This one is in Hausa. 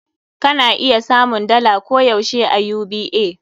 Ka na iya samun dala koh yaushe a UBA.